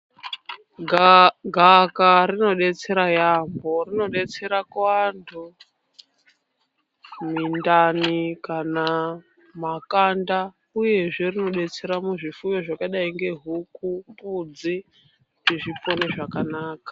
Gaakaka rinodetsera yaambo rinodetsera kuantu mintani kana makanda uyezve rinodetsera muzvifuyo zvakadai ngehuku mbudzi kuti zvipone zvakanaka.